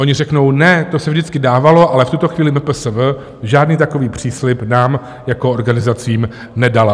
Oni řeknou: Ne, to se vždycky dávalo, ale v tuto chvíli MPSV žádný takový příslib nám jako organizacím nedalo.